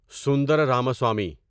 Sundara Ramaswamy